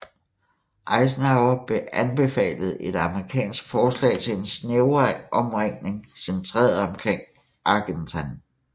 Eisenhower anbefalet et amerikansk forslag til en snævrere omringning centreret omkring Argentan